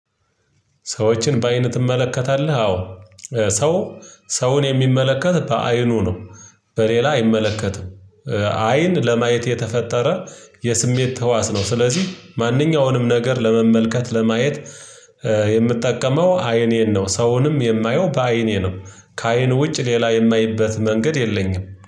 ሰዎችን በአይን ትመለከታለህ አዎ ሰው ሰውን የሚመለከት በአይኑ ነው። በሌላ አይመለከትም። አይን ለማየት የተፈጠረ የስሜት ተህዋስ ነው። ስለዚህ ማንኛውንም ነገር ለመመልከት ለማየት የምትጠቀመው አይኔን ነው። ሰውንም የማየው በአይኔ ነው። ከአይን ውጭ ሌላ የማይበት መንገድ የለኝም